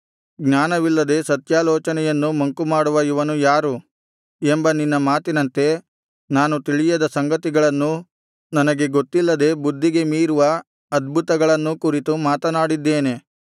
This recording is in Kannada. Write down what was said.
ಜ್ಞಾನವಿಲ್ಲದೆ ಸತ್ಯಾಲೋಚನೆಯನ್ನು ಮಂಕುಮಾಡುವ ಇವನು ಯಾರು ಎಂಬ ನಿನ್ನ ಮಾತಿನಂತೆ ನಾನು ತಿಳಿಯದ ಸಂಗತಿಗಳನ್ನೂ ನನಗೆ ಗೊತ್ತಿಲ್ಲದೆ ಬುದ್ಧಿಗೆ ಮೀರಿರುವ ಅದ್ಭುತಗಳನ್ನೂ ಕುರಿತು ಮಾತನಾಡಿದ್ದೇನೆ